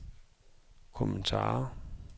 kommentarer